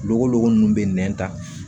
Gogolo golo nunnu bɛ nɛn ta